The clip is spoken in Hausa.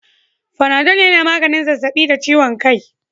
Fanadol yana maganin zazzabi da ciwon kai